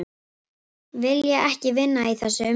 Vilja ekki vinna í þessu umhverfi